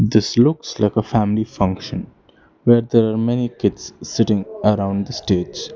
This looks like a family function where there are many kids sitting around the stage.